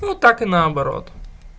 ну так и наоборот